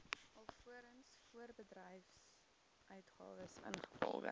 alvorens voorbedryfsuitgawes ingevolge